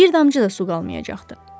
Bir damcı da su qalmayacaqdı.